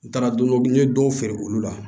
N taara don n ye don feere olu la